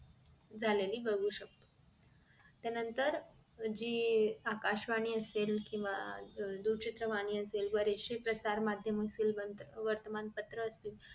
झालेली बघू शकतो त्यानंतर जी आकाशवाणी असेल केंव्हा अह दूरचित्रवाणी असेल बरेचशे प्रसार माध्यम असेल वर्तमान असेल